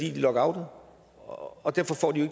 er lockoutet og derfor får de jo